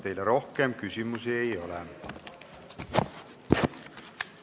Teile rohkem küsimusi ei ole.